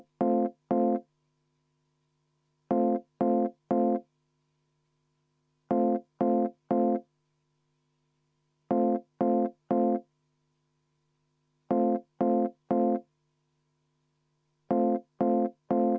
Juhataja vaheaeg kaks minutit.